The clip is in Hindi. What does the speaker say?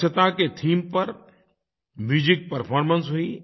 स्वच्छता के थीम पर म्यूजिक परफॉर्मेंस हुई